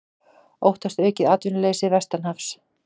Óttast aukið atvinnuleysi vestanhafs